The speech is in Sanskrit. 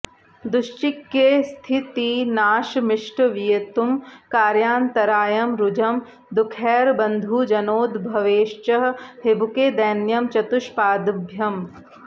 दुश्चिक्ये स्थितिनाशमिष्टवियुतिं कार्यान्तरायं रुजं दुःखैर्बन्धुजनोद्भवैश्च हिबुके दैन्यं चतुष्पाद्भयम्